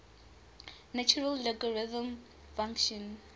natural logarithm function